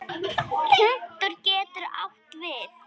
Punktur getur átt við